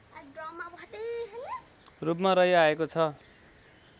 रूपमा रहिआएको छ